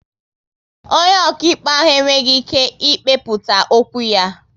Onye okaịkpe ahụ e nweghị ike ị kpekputa okwu ya